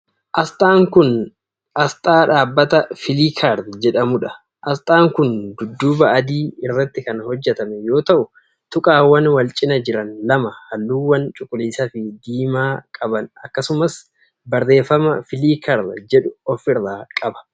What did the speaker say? Asxaan kun, asxaa dhaabbata Filiikar jedhamuu dha. Asxaan kun dudduuba adii irratti kan hojjatame yoo ta'u, tuqaawwan wal cinaa jiran lama haalluuwwan cuquliisa fi diimaa qaban akkasumas barreeffama filiikar jedhu of irraa qaba.